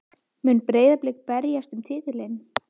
Mun Breiðablik berjast um titilinn?